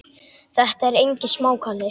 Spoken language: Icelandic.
Þetta er engin smá kalli.